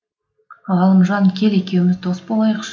ғалымжан кел екеуміз дос болайықш